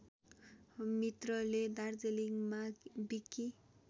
मित्रले दार्जिलिङमा विकि